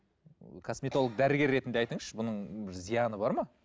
косметолог дәрігер ретінде айтыңызшы бұның зияны бар ма